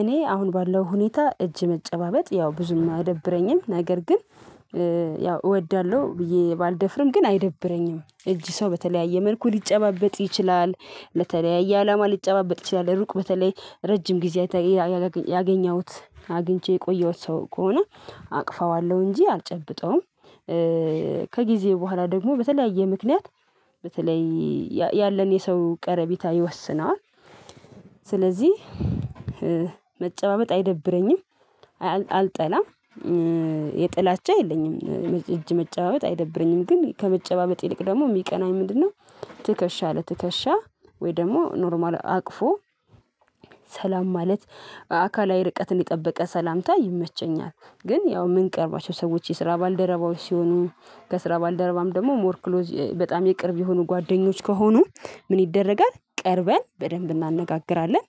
እኔ አሁን ባለው ሁኔታ እጅ መጨባበጥ ያው ብዙም አይደብረኝም ነገር ግን ያው እወዳለሁ ብዬ ባልደፍርም ግን አይደብረኝም እጅ ሰው በተለያየ መልኩ ሊጨባበጥ ይችላል። ለተለያየ አላማ ሊጨባበጥ ይችላል ሩቅ በተለይ ረጅም ጊዜ ያገኘሁት አግኝቼ የቆየሁት ሰው ከሆነ አቅፈዋለሁ እንጂ አልጨብጠውም። ከጊዜ በኋላ ደግሞ በተለያየ ምክንያት በተለይ ያለን የሰው ቀረቢታ ይወስነዋል። ስለዚህ መጨባመጥ አይደብረኝም። አልጠላም። የጥላቻ የለኝም እጅ መጨባበጥ አይደብረኝም ግን ከመጨባበጥ ይልቅ ደግሞ የሚቀናኝ ምንድነው? ትከሻ ለትከሻ ወይ ደግሞ ኖርማል አቅፎ ሰላም ማለት አካላዊ ርቀትን የጠበቀ ሰላምታ ይመቸኛል። ግን ያው ምንቀርባቸው ሰዎች የስራ ባልደረባዎች ሲሆኑ ከስራ ባልደረባም ደግሞ ሞር ክሎዝ በጣም የቅርብ የሆኑ ጓደኞች ከሆኑ ምን ይደረጋል ቀርበን በደንብ እናነጋግራለን።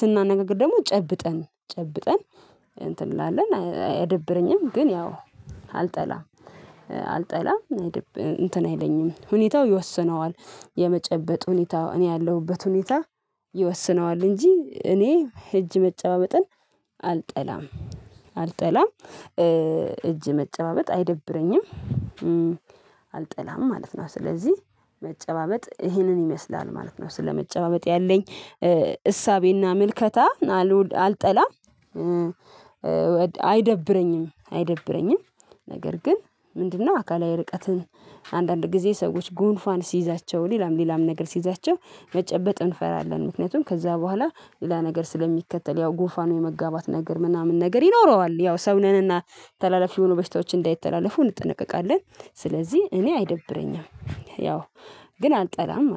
ስናነጋግር ደግሞ ጨብጠን ጨብጠን እንትን እንላለን አያደብረኝም ግን ያው አልጠላም አልጠላም እንትን አይለኝም ሁኔታው ይወስነዋል። የመጨበጥ ሁኔታ እኔ ያለሁበት ሁኔታ ይወስነዋል እንጂ እኔ እጅ መጨባመጥን አልጠላም። አልጠላም እጅ መጨባበጥ አይደብረኝም። አልጠላም ማለት ነው ስለዚህ መጨባበጥ ይሄንን ይመስላል ማለት ነው። ስለመጨባበጥ ያለኝ እሳቤና ምልከታ አልጠላም። አይደብረኝም አይደብረኝም ነገር ግን ምንድነው አካላዊ ርቀትን አንዳንድ ጊዜ ሰዎች ጉንፏን ሲይዛቸው ሌላም ሌላም ነገር ሲይዛቸው መጨበጥ እንፈራለን። ምክንያቱም ከዛ በኋላ ሌላ ነገር ስለሚከተል ያው ጉፋኑ የመጋባት ነገር ምናምን ነገር ይኖረዋል ያው ሰው ነንና ተላላፊ የሆኑ በሽታዎች እንዳይተላለፉ እንጠነቀቃለን። ስለዚህ እኔ አይደብረኝም ያው ግን አልጠላም።